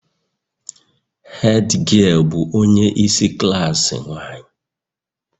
Hed giel bụ onye isi klaasị nwanyị